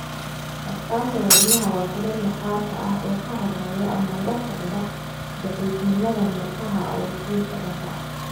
Astaanta wadnaha waa finan maqaarka ah oo ka horreeya ama la socda daciifnimada murqaha oo sii socota.